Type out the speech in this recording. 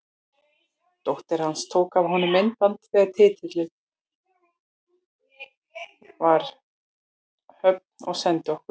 Dóttir hans tók af honum myndband þegar titillinn var í höfn og sendi okkur.